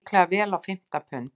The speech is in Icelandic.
Líklega vel á fimmta pund.